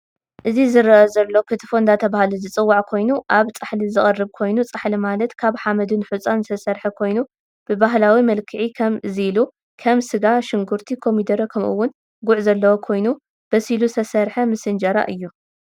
እዚ ዝርአ ዘሎ ክትፎ እዳተበሃለ ዝፅዋዕ ኮይኑ ኣብ ፃሓሊዝቀረብ ኮይኑ ፃሓሊማለት ካብ ሓመድን ሑፃን ዝተሰርሐ ኮይኑ ብባህላዊ መልክዒ ከም እዚ ኢሉ ከም ስጋ ፣ሽግርቲ ፣ኮሚደረ፣ ከምኡ እውን ጉዕ ዘለዎ ከይኑ በሲሉ ዝተሰርሐ ምስ እንጀራ እዩ።